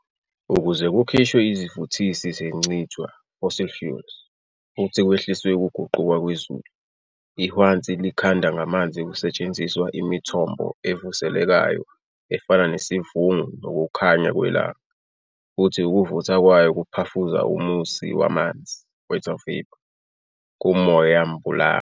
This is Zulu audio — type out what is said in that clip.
Ukuze kukhishwe izivuthisi zentshicwa "fossil fuels" futhi kwehliswe ukuguquka kwezulu, ihwanzi likhandwa ngamanzi kusetshenziswa imithombo evuselelekayo efana nesivungu nokukhanya kwelanga, futhi ukuvutha kwayo kuphafuza umusi wamanzi "water vapor" kumoyambulunga.